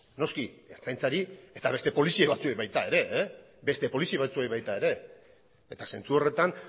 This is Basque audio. noski ertzaintzari eta beste polizia batzuei baita ere eta zentzu horretan